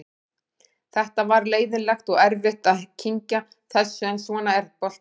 Þetta var leiðinlegt og erfitt að kyngja þessu en svona er boltinn.